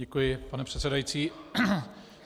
Děkuji, pane předsedající.